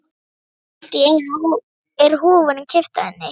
Allt í einu er húfunni kippt af henni!